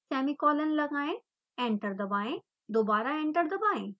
semicolon लगाएं enter दबाएं दोबारा एंटर दबाएं